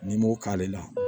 N'i m'o k'ale la